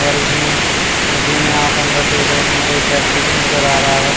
और इसमें नदी में आप अंदर देख रहे हैं एक व्यक्ति भी नजर आ रहा है।